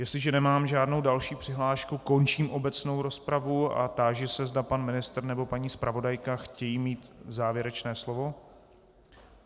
Jestliže nemám žádnou další přihlášku, končím obecnou rozpravu a táži se, zda pan ministr nebo paní zpravodajka chtějí mít závěrečné slovo.